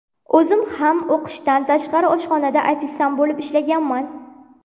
O‘zim ham o‘qishdan tashqari oshxonada ofitsiant bo‘lib ishlaganman.